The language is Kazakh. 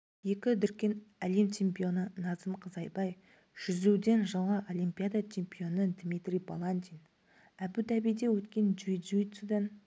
екі дүркін әлем чемпионы назым қызайбай жүзуден жылғы олимпиада чемпионы дмитрий баландин әбу-дабиде өткен джиу-джитсудан